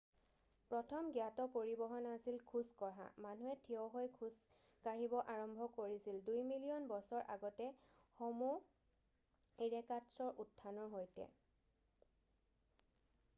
প্ৰথম জ্ঞাত পৰিবহণ আছিল খোজ কঢ়া মানুহে ঠিয় হৈ খোজ কঢ়িব আৰম্ভ কৰিছিল দুই মিলিয়ন বছৰ আগতে হʼমʼ ইৰেক্টাছৰ উত্থানৰ সৈতে অৰ্থ ঠিয় মানুহ।